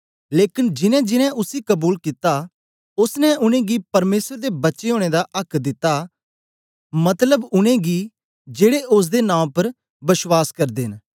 लेकन जिनैंजिनैं उसी कबूल कित्ता ओसने उनेंगी परमेसर दे बच्चे ओनें दा आक्क दिता मतलब उनेंगी जेड़े ओसदे नां उपर बश्वास करदे न